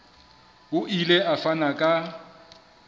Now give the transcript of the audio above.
o ile a fana ka